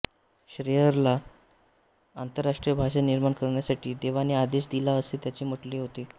श्लेयरला आंतरराष्ट्रीय भाषा निर्माण करण्यासाठी देवाने आदेश दिला असे त्याचे म्हटणे होते